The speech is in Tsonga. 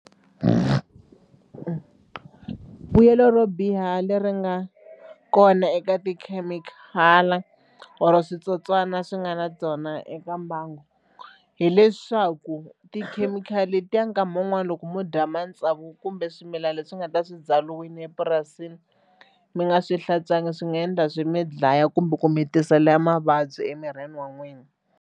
Vuyelo ro biha leri nga kona eka tikhemikhali or switsotswana swi nga na byona eka mbangu hileswaku tikhemikhali letiya nkama wun'wani loko mo dya matsavu kumbe swimilana leswi nga ta swi byariwile epurasini mi nga swi hlantswangi swi nga endla swi mi dlaya kumbe ku mi tisela mavabyi emirini wa n'wina.